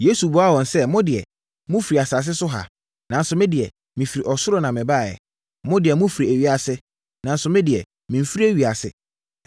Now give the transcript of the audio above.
Yesu buaa wɔn sɛ, “Mo deɛ, mofiri asase so ha, nanso me deɛ, mefiri ɔsoro na mebaeɛ. Mo deɛ, mofiri ewiase, nanso me deɛ, memfiri ewiase,